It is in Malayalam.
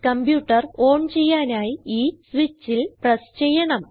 കംപ്യൂട്ടർ ഓൺ ചെയ്യാനായി ഈ സ്വിച്ചിൽ പ്രസ് ചെയ്യണം